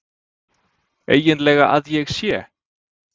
EIGINLEGA AÐ ÉG SÉ?!